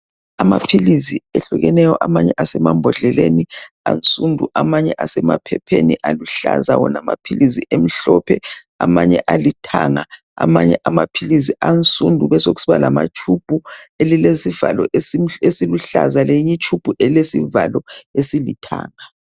Amaphilisi ehlukeneyo. Amanye asemambodleleni ansundu Amanye asemaphepheni aluhlaza, wona amaphilisi emhlophe. Amanye alithanga, Amanye amaphilisi ansundu. Besekusiba lamatshubhu. Elilezivalo esiluhlaza. Lenye itshubhu elesivalo esilithanga.